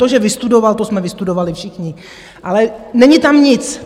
To, že vystudoval - to jsme vystudovali všichni, ale není tam nic.